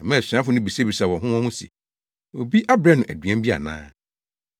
Ɛmaa asuafo no bisabisaa wɔn ho wɔn ho se, “Obi abrɛ no aduan bi ana?”